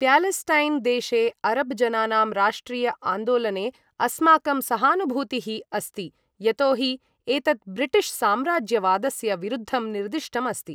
प्यालेस्टैन् देशे अरब् जनानां राष्ट्रिय आन्दोलने अस्माकं सहानुभूतिः अस्ति, यतो हि एतत् ब्रिटिश् साम्राज्यवादस्य विरुद्धं निर्दिष्टम् अस्ति।